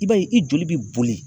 I b'a ye i joli be boli